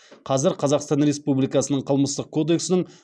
қазір қазақстан республикасының қылмыстық кодекснің